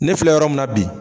Ne filɛ yɔrɔ mun na bi